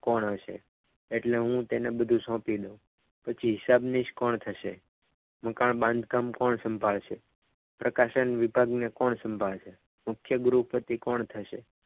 કોણ હશે એટલે હું બધું તેની સોંપી દઉં પછી હિસાબનીશ કોણ થશે મકાન બાંધકામ કોણ સંભાળશે પ્રકાશન વિભાગને કોણ સંભાળશે મુખ્ય ગૃહપતિ કોણ થશે?